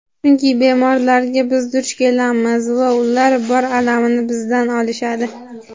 Chunki bemorlarga biz duch kelamiz va ular bor alamini bizdan olishadi!.